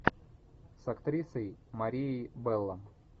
с актрисой марией белло